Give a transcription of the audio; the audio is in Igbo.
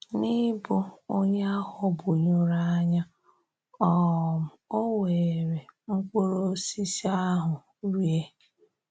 N’ịbụ̀ onye a ghọ́gbùnyụrụ anya, um ò wèèrè mkpụrụ́ ọ̀sísí ahụ rie.